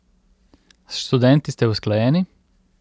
S študenti ste usklajeni?